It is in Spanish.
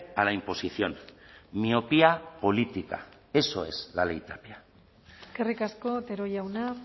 a la imposición miopía política eso es la ley tapia eskerrik asko otero jauna